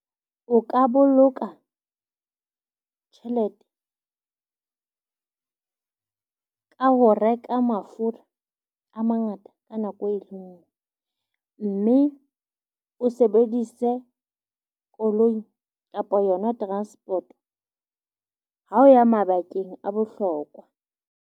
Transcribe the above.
O ka boloka tjhelete ka ho reka mafura a mangata ka nako e le ngwe. Mme o sebedise koloi kapa yona transport ha o ya mabakeng a bohlokwa.